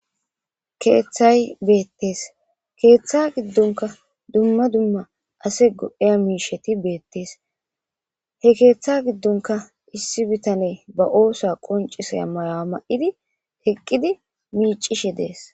Keeththay beettees keeththa giddonka dumma dumma ase godheya miisheti beettes he keeththa giddonka issi bitane ba oosa qoncisay maya ma7idi heqqidi miicishe dees.